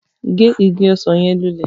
Ge ìgi ọsan yẹn lulẹ!